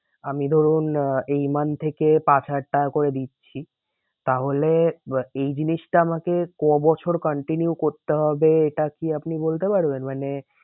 আমি ধরুন আহ এই month থেকে পাঁচ হাজার টাকা করে দিচ্ছি। তাহলে এই জিনিসটা আমাকে কবছর continue করতে হবে এটা কি আপনি বলতে পারবেন? মানে